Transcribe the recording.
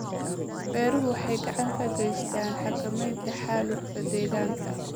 Beeruhu waxay gacan ka geystaan ??xakamaynta xaalufka deegaanka.